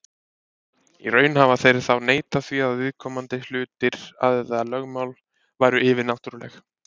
Í raun hafa þeir þá neitað því að viðkomandi hlutir eða lögmál væru yfirnáttúrleg.